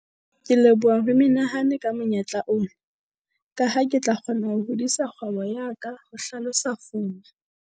"Ke leboha ho menehane ka monyetla ona, ka ha ke tla kgona ho hodisa kgwebo ya ka," ho hlalosa Fuma.